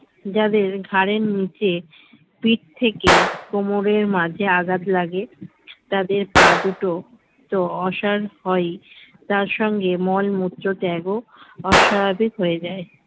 যাদের ঘাড়ের নিচে পিঠ থেকে কোমরের মাঝে আঘাত লাগে তাদের পা দুটো তো অসার হয় তার সঙ্গে মলমূত্র ত্যাগও অস্বাভাবিক হয়ে যায়